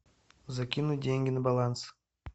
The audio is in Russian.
закинуть деньги на баланс